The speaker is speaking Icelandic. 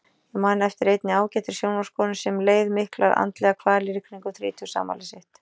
Ég man eftir einni ágætri sjónvarpskonu sem leið miklar andlegar kvalir í kringum þrítugsafmælið sitt.